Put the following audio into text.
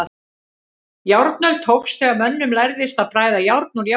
Járnöld hófst þegar mönnum lærðist að bræða járn úr járngrýti.